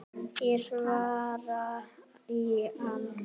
Ég svara í ann